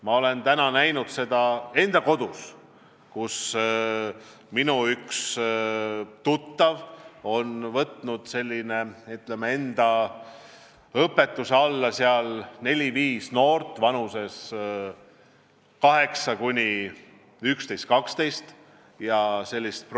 Ma olen näinud enda kodus, kuidas minu üks tuttav on võtnud enda õpetuse alla neli-viis noort vanuses 8, 11 ja 12 aastat.